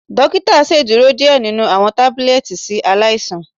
Dokita ṣeduro diẹ ninu awọn tabulẹti si alaisan.